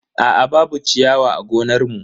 Aa babu ciyawa a gonar mu.